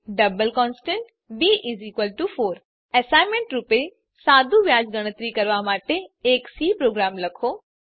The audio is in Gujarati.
ડબલ કોન્સ્ટ b4 એસાઈનમેંટ રૂપે સાદુ વ્યાજ ગણતરી કરવાં માટે એક સી પ્રોગ્રામ લખો